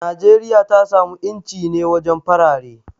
Najeriya ta samu inci ne wajen farare.